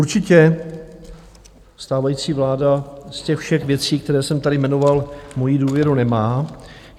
Určitě stávající vláda z těch všech věcí, které jsem tady jmenoval, moji důvěru nemá.